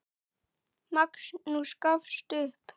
Magnús gafst upp.